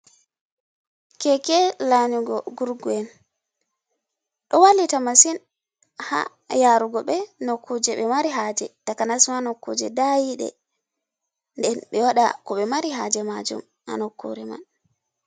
Keke lanugo gurgu en, ɗo walita masin ha yarugo ɓe nokkure ɓe mari haje, takanas ma nokkuje da yiɗe, den ɓe waɗa ko ɓe mari haje majum ha nokure man.